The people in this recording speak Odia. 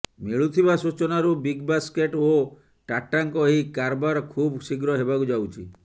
ମିଳୁଥିବା ସୂଚନାରୁ ବିଗବାସ୍କେଟ୍ ଓ ଟାଟାଙ୍କ ଏହି କାରବାର ଖୁବ ଶୀଘ୍ର ହେବାକୁ ଯାଉଛି